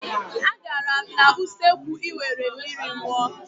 Agara m n'usekwu I were mmiri ṅụọ.